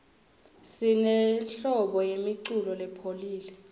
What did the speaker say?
sinenhlobo yemiculo lopholile